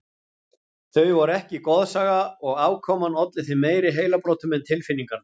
Þau voru ekki goðsaga og afkoman olli þeim meiri heilabrotum en tilfinningarnar.